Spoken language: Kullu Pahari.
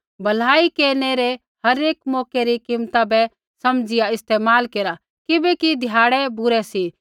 भलाई केरनै रै हरेक मौकै री कीमता बै समझ़िया इस्तेमाल केरा किबैकि ध्याड़ै बुरै सी